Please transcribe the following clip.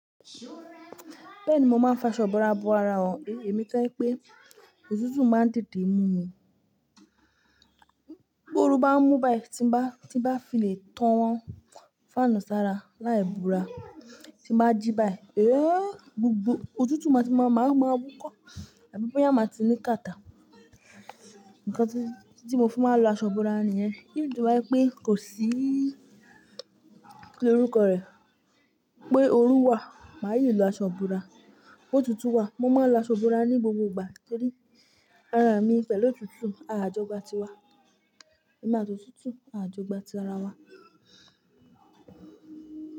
Bẹ́ẹ̀ni, mo máa ń fi aṣọ ìbora bo ara ọ, èmi tó ẹ pé òtútù máa ń tètè mú mi. Tí oru bá ń mú báyìí tí bá fi le tán fánù sára láì bora tí bá jí báyìí. É! Òtútù máa ti máa ti máa wúkọ́, àbí bóyá máa ti máa ti ní kàtà. Nǹkan tí mo fi máa ń lọ aṣọ ìbora nìyẹn. Even tó bá jẹ́ pé kò sí kí ló rúkọ rẹ̀ pé oru wà, màá yíì lọ aṣọ ìbora Òtútù wà, mo máa lọ aṣọ ìbora ní gbogbo ìgbà torí ara mi fẹ́ lọ́tútù àjọgbá ti wa. Èmi àti otúútúú àjọgbá ti ara wa.